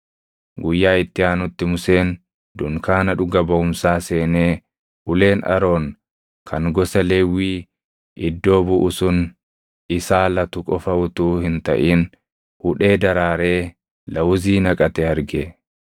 Guyyaa itti aanutti Museen dunkaana dhuga baʼumsaa seenee uleen Aroon kan gosa Lewwii iddoo buʼu sun isaa latu qofa utuu hin taʼin hudhee daraaree lawuzii naqate arge.